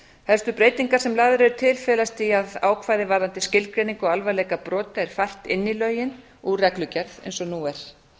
helstu breytingar sem lagðar eru til felast í að ákvæði varðandi skilgreiningu á alvarleika brota er fært inn í lögin úr reglugerð eins og nú er